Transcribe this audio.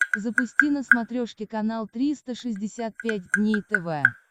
запусти на смотрешке канал триста шестьдесят пять дней тв